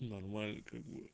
нормально как бы